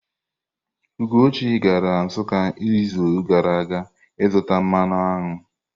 Ugochi gara Nsukka izu gara aga zụta mmanụ aṅụ.